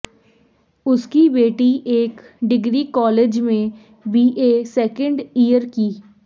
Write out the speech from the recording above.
उसकी बेटी एक डिग्री कॉलेज में बीए सेकेंड ईयर की